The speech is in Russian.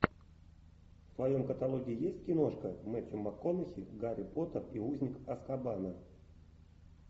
в твоем каталоге есть киношка мэттью макконахи гарри поттер и узник азкабана